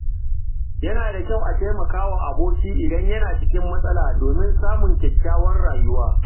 Yana da kyau a taimaka wa aboki idan yana cikin matsala domin samun kyakkyawar rayuwa.